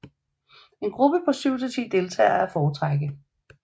En gruppe på 7 til 10 deltagere er at foretrække